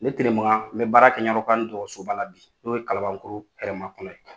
Ne Tenemakan n bɛ baara kɛ ɲamakɔrɔ kurani dɔgɔtɔsoba la bi, n'o ye kalabankoro hɛrɛma kɔnɔ ye.